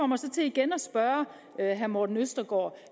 mig så til igen at spørge herre morten østergaard